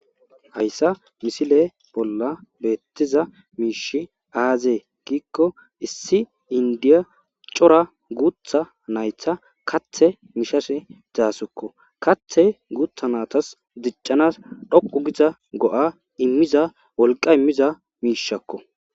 Hayssa misile bolla beettiza miishi aazee giikko issi inddiya cora guutha naytha kathe mishashe daasukko kathe guutha naatas diccanas dhoqu giza go7a immiza wolqa immiza miishakko.